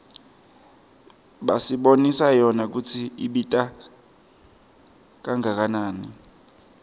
basibonisa yona kutsi ibita kangakanani